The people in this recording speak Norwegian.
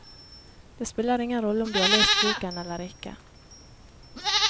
Det spiller ingen rolle om du har lest boken eller ikke.